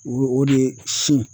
O o de ye sin